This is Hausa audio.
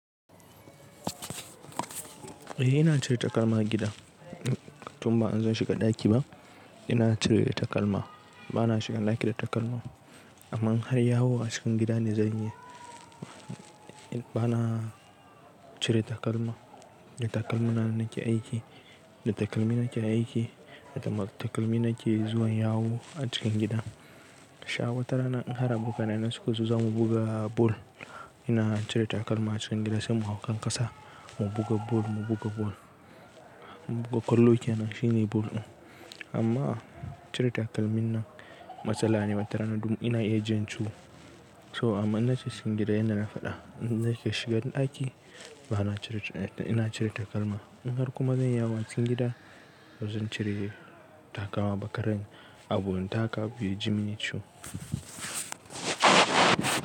Eh ina cire takalma a gida. Tun ba in zan shiga ɗaki ba ina cire takalma. Bana shiga ɗaki da takalma. Amma in har yawo a cikin gida ne zan yi, bana cire takalma. Da takalmi na nake aiki, da takalmi nake aiki, da takalmi nake zuwa yawo a cikin gida. Sha wata rana in har abokanai na suka zo za mu buga bal, ina cire takalma a cikin gida sai mu hau kan ƙasa, mu buga bal, mu buga bal. Mu buga kwallo kenan shine bal ɗin. Amma cire takalmi nan matsala ne, wata rana dan ina iya jin ciwo. So amma in na shiga cikin gida yanda na faɗa, nake shiga ɗaki bana cire, ina cire takalma. In har kuma zan yi yawo a cikin gida bazan cire takalma ba karin abu na taka abu ya ji mini ciwo.